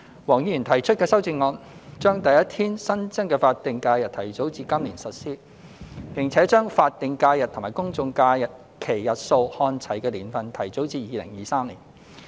黃議員提出的修正案，將第一天新增的法定假日提早至今年實施，並將法定假日及公眾假期日數看齊的年份提早至2023年。